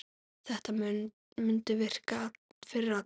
Þetta mundi virka fyrir alla.